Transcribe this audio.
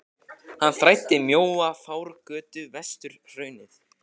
Hann þræddi mjóa fjárgötu vestur hraunið.